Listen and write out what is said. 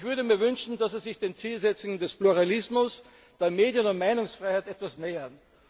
Ich würde mir wünschen, dass Sie sich den Zielsetzungen des Pluralismus, der Medien und Meinungsfreiheit etwas nähern.